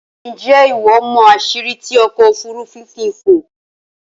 Ǹjé́ ìwọ mọ̀ àsìrí tí ọkò òfúrùfú fi ń fò?